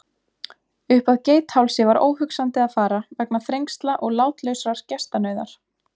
Uppað Geithálsi var óhugsandi að fara vegna þrengsla og látlausrar gestanauðar.